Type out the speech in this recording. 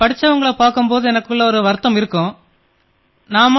படித்தவர்களைப் பார்க்கும் போது என்னால் படிக்க முடியவில்லையே என் மனதிலே என்ற குறை தோன்றும்